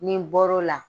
Ni n bɔr'o la